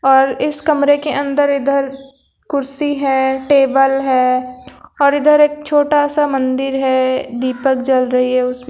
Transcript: और इस कमरे के अंदर इधर कुर्सी है टेबल है और इधर एक छोटा सा मंदिर है दीपक जल रही है उस--